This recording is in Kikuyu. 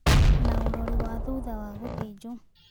Na ũrori wa thutha wa gũthĩnjwo